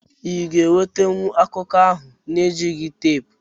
Iga enwetenwu akụku ahu na ejigh tepu?